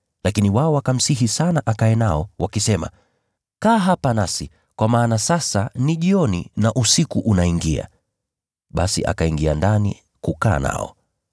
Lakini wao wakamsihi sana akae nao, wakisema, “Kaa hapa nasi, kwa maana sasa ni jioni na usiku unaingia.” Basi akaingia ndani kukaa nao.